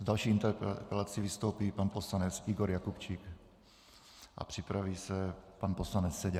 S další interpelací vystoupí pan poslanec Igor Jakubčík a připraví se pan poslanec Seďa.